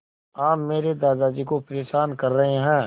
आप मेरे दादाजी को परेशान कर रहे हैं